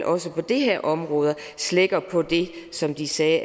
også på det her område slækker på det som de sagde